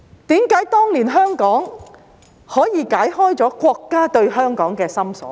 為何當年香港可以解開國家對香港的心鎖？